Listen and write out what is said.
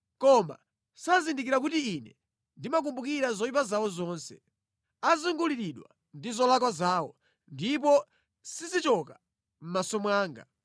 Koma sazindikira kuti Ine ndimakumbukira zoyipa zawo zonse. Azunguliridwa ndi zolakwa zawo; ndipo sizichoka mʼmaso mwanga.